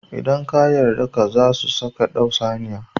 Idan har ka yarda ka, zasu saka ka dau saniya